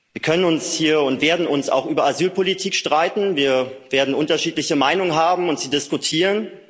Wir können und werden uns hier auch über Asylpolitik streiten, wir werden unterschiedliche Meinungen haben und sie diskutieren.